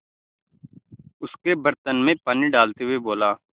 उसके बर्तन में पानी डालते हुए बोला